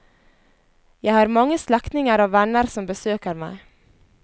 Jeg har mange slektninger og venner som besøker meg.